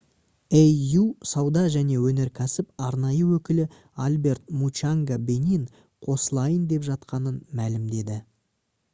au сауда және өнеркәсіп арнайы өкілі альберт мучанга бенин қосылайын деп жатқанын мәлімдеді